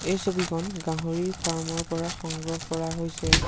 এই ছবিখন গাহৰিৰ ফাৰ্মৰ পৰা সংগ্ৰহ কৰা হৈছে।